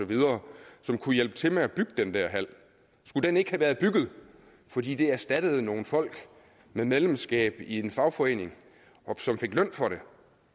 som kunne hjælpe til med at bygge den der hal skulle den ikke have været bygget fordi det erstattede nogle folk med medlemskab i en fagforening som fik løn for det